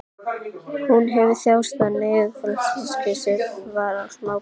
Hún hefur þjáðst af niðurfallssýki síðan hún var smábarn.